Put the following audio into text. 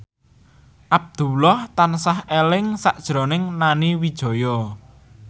Abdullah tansah eling sakjroning Nani Wijaya